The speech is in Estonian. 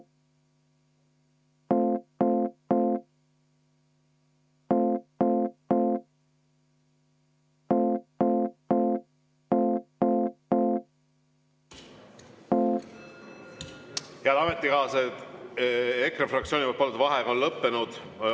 Head ametikaaslased, EKRE fraktsiooni palutud vaheaeg on lõppenud.